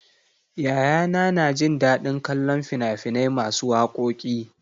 Yayana na jin daɗin kallon fina-finai masu wakoki.